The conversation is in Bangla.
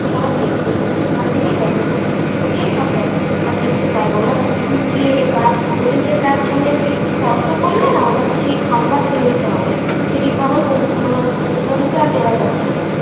সবাই দেখতে পায় ওখান থেকেই দেখে ছোট ছোট ফুঁকো দিয়েই সব দেখে আর দেখতে পায় না. ওরা ঢুকলে বা ওদেরকে চার ছলে স্পর্শ করলে না ওদের সেই খাবার ফেলে দিতে হবে. সেই খাবার মানে ও প্রভুকে আর দেওয়া যাবে না.